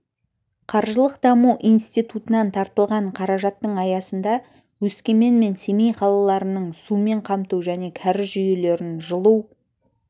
қаржылық даму институтынан тартылған қаражаттың аясында өскемен мен семей қалаларының сумен қамту және кәріз жүйелерін жылу